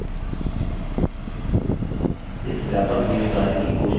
इस व्यापक नियत कार्य की कोशिश करें